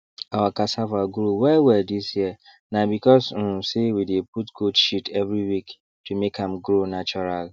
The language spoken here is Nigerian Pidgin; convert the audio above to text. our cassava grow well well this year na because um say we dey put goat shit every week to make am grow natural